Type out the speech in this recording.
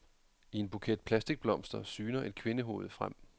I en buket plastikblomster syner et kvindehoved frem.